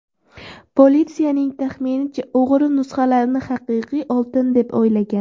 Politsiyaning taxminicha, o‘g‘ri nusxalarni haqiqiy oltin deb o‘ylagan.